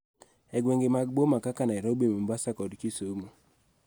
E gwenge mag boma kaka Nairobi, Mombasa, kod Kisumu,